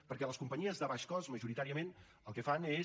perquè les companyies de baix cost majoritàriament el que fan és